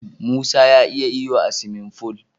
Musa ya iya iyo a siwimin ful.